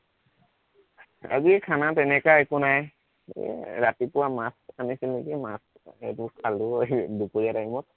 আজি খানা তেনেকুৱা একো নাই, এৰ ৰাতিপুৱা মাছ আনিছিন নিকি মাছ, সেইবোৰ খালো দুপৰীয়া time ত